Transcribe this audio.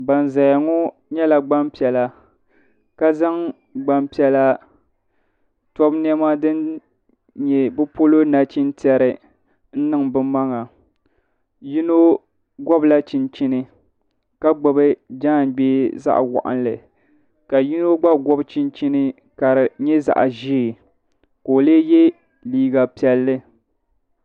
Banzaya ŋɔ nyɛla gbampiɛla ka zaŋ gbampiɛla tobu niɛma din nyɛ bɛ polo nachintɛri n niŋ bɛ maŋa yino ŋɔbila chinchini ka gbibi jaangbee zaɣa waɣanli ka yino gba gɔbi chinchini ka di nyɛ zaɣa ʒee ka o lee ye liiga piɛlli.